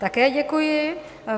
Také děkuji.